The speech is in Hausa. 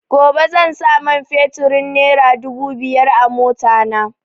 Gobe zan sa man feturin nera dubu biyar a mota na